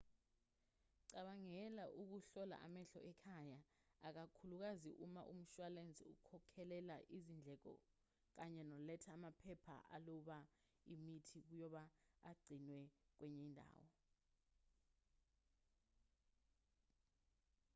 cabangela ukuhlola amehlo ekhaya ikakhulukazi uma umshwalense ukhokhelela izindleko kanye noletha amaphepha aloba imithi ukuba agcinwe kwenye indawo